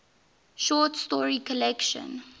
short story collection